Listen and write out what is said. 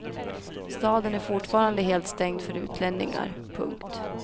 Staden är fortfarande helt stängd för utlänningar. punkt